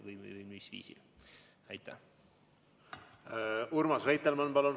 Urmas Reitelmann, palun!